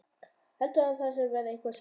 Heldurðu að ég sé að verða eitthvað skrýtinn?